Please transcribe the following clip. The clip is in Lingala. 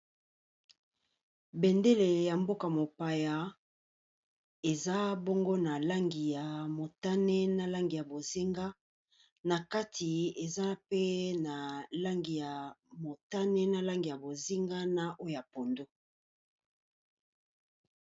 Bendele ya mboka mopaya eza bongo na langi ya motane, na langi ya bozinga. Na kati eza pe na langi ya motane, na langi ya bozinga, na oyo ya pondu.